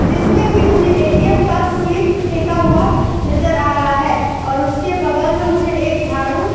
जिसमें कि मुझे ए.टी.एम. का स्लिप फेंका हुआ नजर आ रहा है और उसके बगल में मुझे एक झाडू --